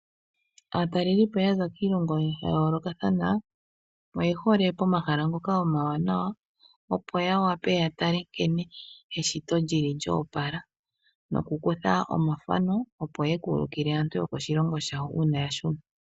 Aatalelipo yaza kiilongo ya yoolokathana oyehole pomahala ngoka omawanawa opo ya wape ya tale nkene eshito lili lyo opala nokukutha omathano opo ye ku ululike aantu yokoshilongo shawo uuna ya shuna.